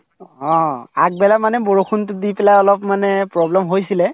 অ, আগবেলা মানে বৰষুণতো দি পেলাই অলপ মানে problem হৈছিলে